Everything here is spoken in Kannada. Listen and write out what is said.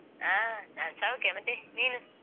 ಹ, ನಾನು ಸೌಖ್ಯ. ಮತ್ತೆ, ನೀನು?